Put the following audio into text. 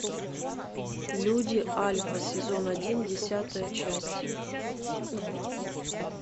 люди альфа сезон один десятая часть